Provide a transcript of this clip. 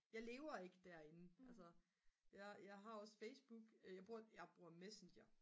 jeg lever ikke derinde altså jeg har også Facebook jeg bruger Messenger